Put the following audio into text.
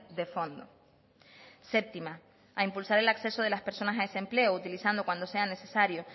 de fondo séptima a impulsar el acceso de las personas en desempleo utilizando cuando sea necesario